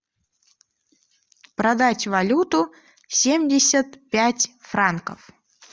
продать валюту семьдесят пять франков